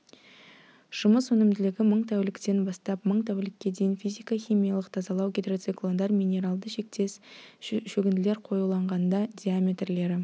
жұмыс өнімділігі мың тәуліктен бастап мың тәулікке дейін физика-химиялық тазалау гидроциклондар минералды тектес шөгінділер қоюланғанда диаметрлері